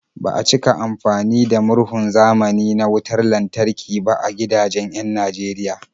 Ba a cika amfani da murhun zamani na wutar lantarki ba a gidajen 'yan Najeriya.